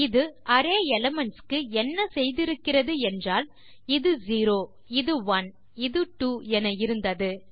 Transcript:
இது array elements க்கு என்ன செய்திருக்கிறது என்றால் இது செரோ இது ஒனே இது ட்வோ என இருந்தது